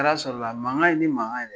I bɛ t'a sɔrɔla, mankan in tɛ mankan yɛrɛ ye.